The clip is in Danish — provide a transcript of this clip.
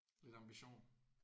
Lidt ambition?